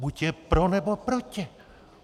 Buď je pro, nebo proti.